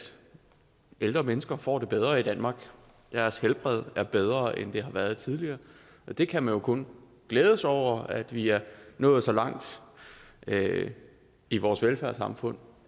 ældre mennesker får det bedre i danmark deres helbred er bedre end det har været tidligere vi kan jo kun glæde os over at vi er nået så langt i vores velfærdssamfund